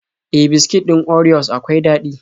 E, biskit ɗin orios akwai daɗi.